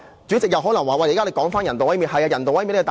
主席可能指我又重提人道毀滅了。